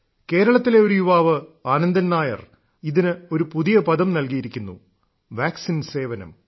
കേരളത്തിലെ ഒരു യുവാവ് ആനന്ദൻ നായർ ഇതിന് ഒരു പുതിയ പദം നൽകിയിരിക്കുന്നു വാക്സിൻ സേവനം